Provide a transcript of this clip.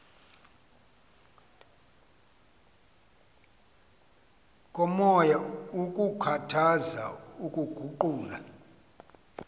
komoya kukhuthaza ukuguqula